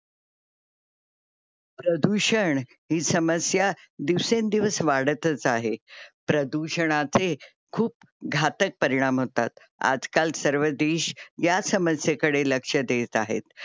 प्रदूषण ही समस्या दिवसेंदिवस वाढतच आहे. प्रदूषणाचे खूप घातक परिणाम होतात. आजकाल सर्व देश ह्या समस्येकडे लक्ष देत आहेत.